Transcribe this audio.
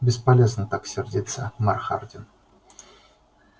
бесполезно так сердиться мэр хардин